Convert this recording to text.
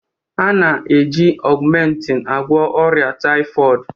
A na-eji augmentin agwọ ọrịa typhoid